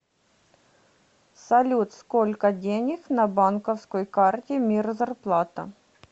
салют сколько денег на банковской карте мир зарплата